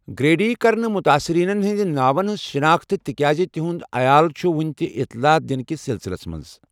Greedy کٔر نہٕ متٲثرینن ہنٛدۍ ناون ہنٛز شناختہٕ، تِکیازِ تہنٛد عیال چھِ وُنہِ تہِ اطلاع دِنہٕ کِس سلسِلس منٛز۔